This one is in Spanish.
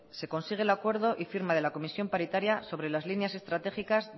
se consigue el acuerdo y firma de la comisión paritaria sobre las líneas estratégicas